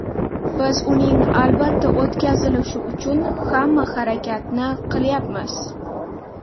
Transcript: Biz uning albatta o‘tkazilishi uchun hamma harakatni qilyapmiz.